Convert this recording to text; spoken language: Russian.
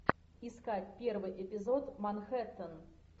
искать первый эпизод манхэттен